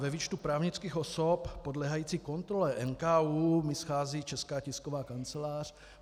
Ve výčtu právnických osob podléhajících kontrole NKÚ mi schází Česká tisková kancelář.